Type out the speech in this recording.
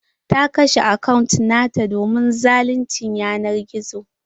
Ta kashe akant nata domin zaluncin yanar gizo.